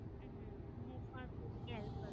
હમ હું પણ સોચુ કી help